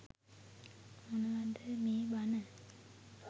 මොනවද මේ බන